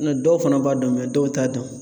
N nɔ dɔw fana b'a dɔn dɔw t'a dɔn.